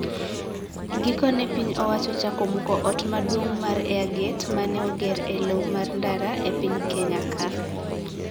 Gikone piny owacho ochako muko ot maduong` mar Airgate ma ne oger e lowo mar ndara e piny Kenya ka.